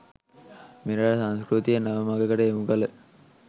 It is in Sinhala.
මෙරට සංස්කෘතිය නව මඟකට යොමුකළ